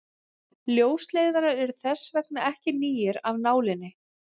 Ljósleiðarar eru þess vegna ekki nýir af nálinni.